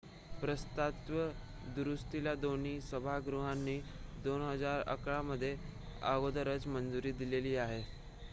प्रस्तावित दुरुस्तीला दोन्ही सभागृहांनी 2011 मध्ये अगोदरच मंजुरी दिलेली आहे